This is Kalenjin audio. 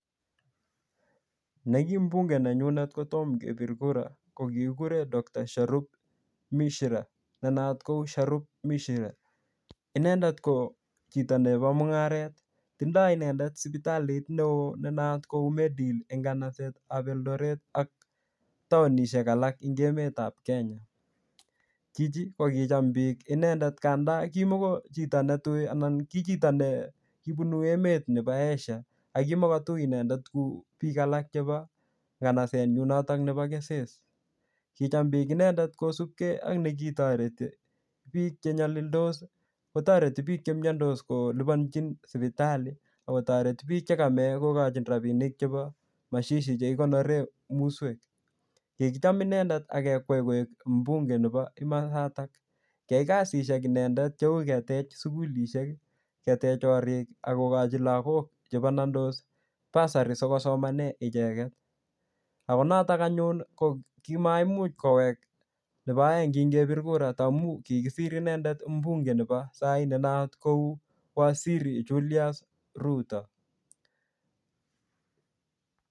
Ne ki mbunge nenyunet kotom kepir kura, ko kikikure Dr Sharuk Mishira, ne not ko Sharuk Mishira. Inendet ko chito nebo mung'aret. Tindoi inendet sipitalit neoo ne naat kou Medi Heal eng kanaset ap Eldoret ak taunishek alak ing emet ap Kenya. Chichi, ko kicham biik inendet kandaa kimuko chito ne tui, anan ki chito ne kibunu emet nebo Asia. Akimukotui inendet kuu biik alak chebo kanaset nyu notok nebo keses. Kicham biik inendet kosupkey ak nekitoreti biik che nyalildos, kotoreti biik chemiandos kolipanchin sipitali, akotoreti biik cheka mei kokochin rabinik chebo mashishi he kikonore muswek. Kikicham inendet akekwei koek mbunge nebo kimasatak. Kiyai kasishek inendet cheu ketej sukulishek, ketech korik, akokochi lagok che banandos bursary sikosomane icheket. Ako notok anyun, ko kimaimuch kowek nebo eng ngingepir kura ta amu kikisir inendet mbunge nebo sai ne naat sai kou waziri Julius Ruto